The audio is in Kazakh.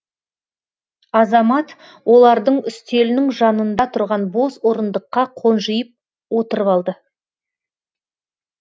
азамат олардың үстелінің жанында тұрған бос орындыққа қонжиып отырып алды